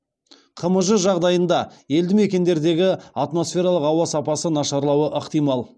қмж жағдайында елді мекендердегі атмосфералық ауа сапасы нашарлауы ықтимал